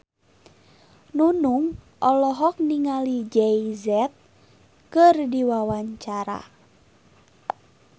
Nunung olohok ningali Jay Z keur diwawancara